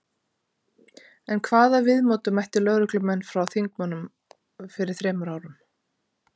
En hvaða viðmóti mættu lögreglumenn frá þingmönnum fyrir þremur árum?